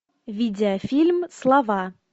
видеофильм слова